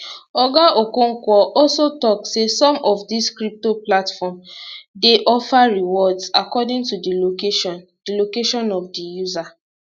oga okonkwo also tok say some of dis crypto platforms dey offer rewards according to di location di location of di user